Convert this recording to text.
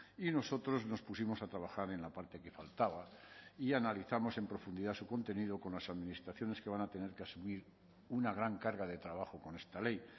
y nosotros nos pusimos a trabajar en la parte que faltaba y analizamos en profundidad su contenido con las administraciones que van a tener que asumir una gran carga de trabajo con esta ley